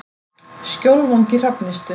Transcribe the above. Skjólvangi Hrafnistu